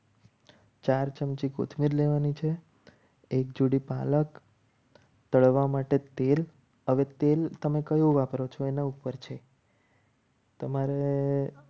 ચાર ચમચી કોથમીર લેવાની છે. તળવા માટે તેલ હવે તેલ તમે કયું વાપરો છો એના ઉપર છે. તમારે